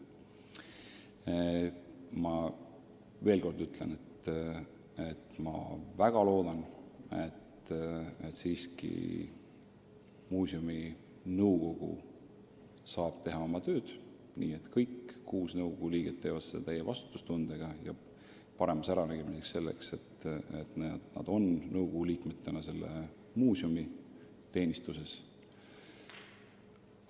Ma veel kord ütlen, et ma väga loodan, et siiski muuseumi nõukogu saab teha oma tööd, nii et kõik kuus nõukogu liiget suhtuvad sellesse täie vastutustundega ja annavad endale aru, et nad on nõukogu liikmetena muuseumi teenistuses.